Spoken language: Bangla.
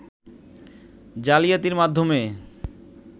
জালিয়াতির মাধ্যমে